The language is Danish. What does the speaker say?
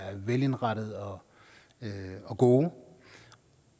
velindrettede og og gode